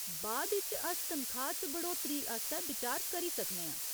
बाद इच अस तनखाह् च बढ़ौतरी आस्तै बिचार करी सकने आं।